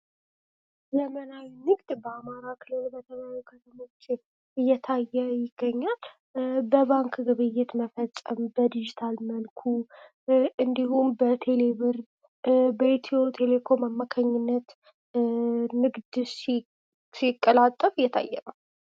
ዘመናዊ ንግድ በአማራ ክልል በተለያዩ ከተሞች እየታየ ይገኛል በባንክ ግብይት መፈጸም በዲጂታል መርኩ እንዲሁም በቴሌቨር በኢትዮ ቴሌኮም አማካኝነት ንግድ ሲቀላጠፍ እየታየ ነው።